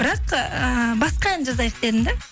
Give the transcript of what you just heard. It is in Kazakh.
бірақ ыыы басқа ән жазайық дедім да